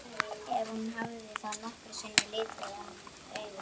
Ef hún hafði þá nokkru sinni litið hann augum.